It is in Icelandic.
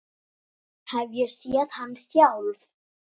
Ég hef séð hann sjálf!